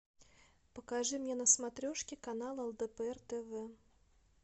покажи мне на смотрешке канал лдпр тв